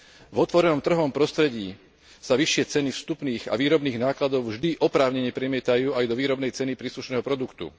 V otvorenom trhovom prostredí sa vyššie ceny vstupných a výrobných nákladov vždy oprávnene premietajú aj do výrobnej ceny príslušného produktu.